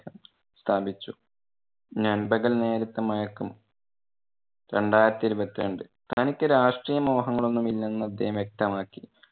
സ്ഥാപിച്ചു. നൻപകൽ നേരത്തു മയക്കം രണ്ടായിരത്തി ഇരുപത്തി രണ്ട്. തനിക്ക് രാഷ്ട്രീയ മോഹങ്ങളൊന്നും ഇല്ലെന്ന് അദ്ദേഹം വ്യക്തമാക്കി.